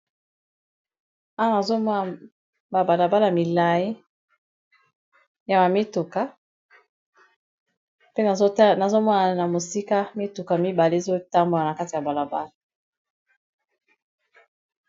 Awa nazomona babalabala milai ya mamituka pe nazomona na mosika mituka mibale ezotambona na kati ya balabala.